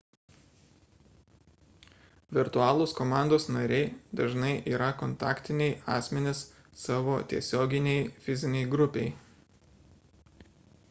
virtualūs komandos nariai dažnai yra kontaktiniai asmenys savo tiesioginei fizinei grupei